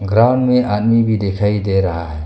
Ground में आदमी भी दिखाई दे रहा है।